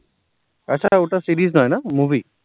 আচ্ছা, ওটা series নয় না movie